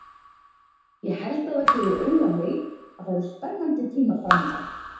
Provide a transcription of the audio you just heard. Ég held að það gefi auga leið að það eru spennandi tímar framundan.